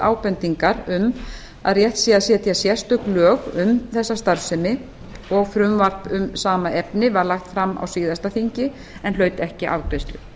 ábendingar um að rétt sé að setja sérstök lög um þessa starfsemi og frumvarp um sama efni var lagt fram á síðasta þingi en hlaut ekki afgreiðslu